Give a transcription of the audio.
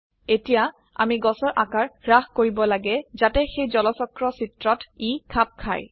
এতিয়া আমি গছৰ আকাৰ হ্ৰাস কৰিব লাগে যাতে সেই জলচক্ৰ চিত্ৰত ই খাপ খায়